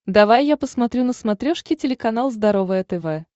давай я посмотрю на смотрешке телеканал здоровое тв